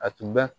A tun bɛ